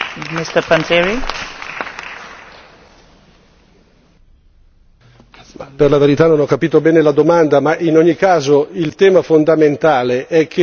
Per la verità non ho capito bene la domanda, ma in ogni caso il tema fondamentale è che anche in politica estera è necessario andare a vedere le carte e non rifiutarle.